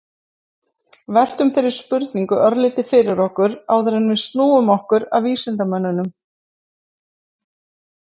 veltum þeirri spurningu örlítið fyrir okkur áður en við snúum okkur að vísindamönnunum